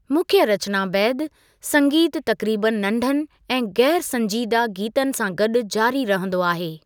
मुख्य रचना बैदि, संगीतु तक़रीबु नंढनि ऐं गै़रसंजीदह गीतनि सां गॾु जारी रहिंदो आहे।